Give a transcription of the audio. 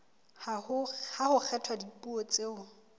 ha ho kgethwa dipuo tseo